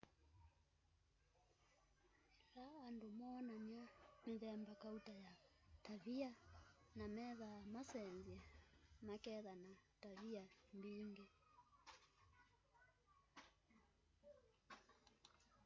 ila andũ moonania mithemba kauta ya tavia na methaa masensye maketha na tavia mbingi